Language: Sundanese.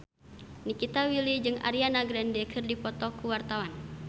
Nikita Willy jeung Ariana Grande keur dipoto ku wartawan